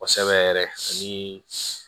Kosɛbɛ yɛrɛ ani